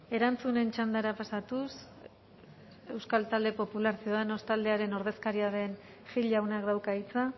erantzunen txandara pasatuz euskal talde popular ciudadanos taldearen ordezkaria den gil jaunak dauka hitza